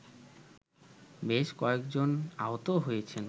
বেশ কয়েকজন আহত হয়েছেন